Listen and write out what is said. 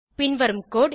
பின் வரும் கோடு